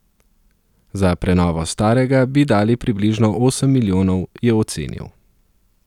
Za prenovo starega bi dali približno osem milijonov, je ocenil.